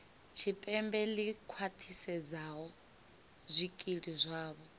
tshipembe ḽi khwaṱhisedzaho zwikili zwavho